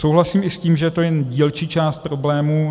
Souhlasím i s tím, že to je jen dílčí část problému.